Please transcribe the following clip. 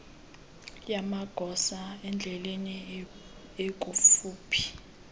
yamagosa endlela ekufuphi